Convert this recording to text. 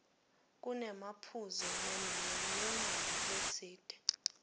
kunemaphuzu nemininingwane letsite